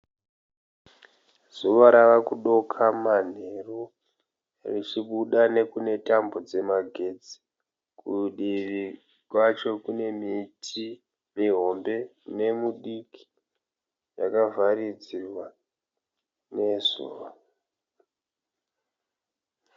Zuva rava kudoka manheru richibuda nekune tambo dzemagetsi. Kudivi kwacho kune miti mihombe nemidiki yakavharidzirwa nezuva.